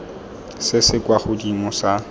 se se kwa godimo sa